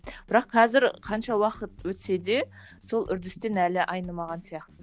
бірақ қазір қанша уақыт өтсе де сол үрдістен әлі айнымаған сияқты